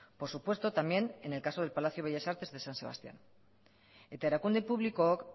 por supuesto también en el caso del palacio bellas artes de san sebastián eta erakunde publikook